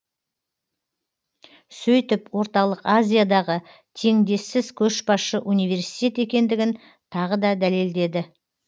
сөйтіп орталық азиядағы теңдессіз көшбасшы университет екендігін тағы да дәлелдеді